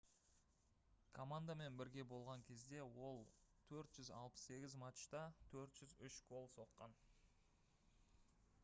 командамен бірге болған кезде ол 468 матчта 403 гол соққан